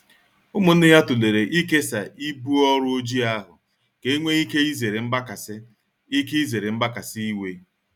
Umunne ya tulere ikesaa ibu ọrụ Ojii ahụ ka enwe ike izere mgbakasị ike izere mgbakasị iwe.